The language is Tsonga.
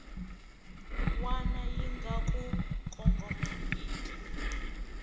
wana yi nga ku kongomangiki